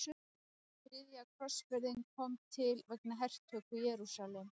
Þriðja krossferðin kom til vegna hertöku Jerúsalem.